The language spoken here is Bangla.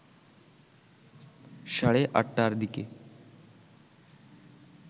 সাড়ে ৮টার দিকে